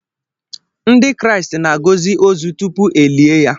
Ndị Kraịst na-agọzị ozu tupu e lie ya.